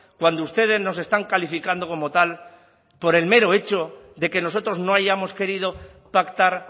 cuando ustedes nos están calificando como tal por el mero hecho de que nosotros no hayamos querido pactar